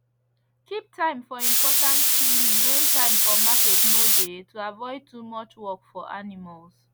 keep time for important cleaning when time for market no dey to avoid too much work for animals